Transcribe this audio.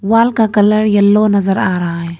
Wall का colour yellow नजर आ रहा है।